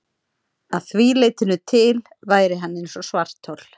Að því leytinu til væri hann eins og svarthol.